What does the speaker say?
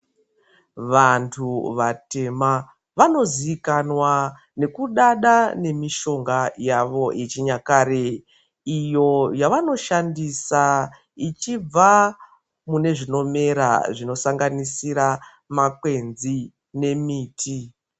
Vanthu vatema vanozikanwa ngekusada ngemishonga yavo yechinyakare iyo yavanoshandisa ichibva mune zvinomera zvinosanganisira makwenzi nemiti.